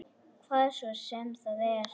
Hvað svo sem það er.